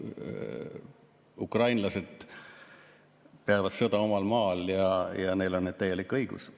Ukrainlased peavad sõda omal maal ja neil on täielik õigus.